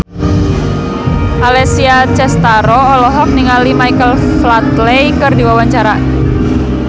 Alessia Cestaro olohok ningali Michael Flatley keur diwawancara